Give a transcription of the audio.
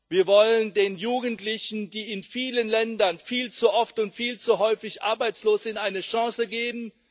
Wir wollen den Jugendlichen, die in vielen Ländern viel zu oft und viel zu häufig arbeitslos sind, eine Chance geben.